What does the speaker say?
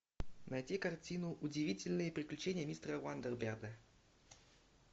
найти картину удивительные приключения мистера уандерберда